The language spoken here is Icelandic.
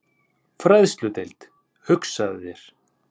Fræðsludeild, hugsaðu þér!